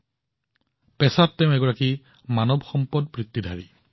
ৰোহন পেছাত এজন এইচআৰ পেছাদাৰী